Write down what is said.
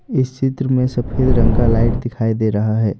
इस चित्र में सफेद रंग का लाइट दिखाई दे रहा है।